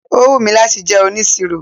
Ó wù mí láti jẹ́ onisiro.